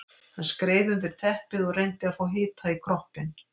Hann skreið undir teppið og reyndi að fá hita í kroppinn.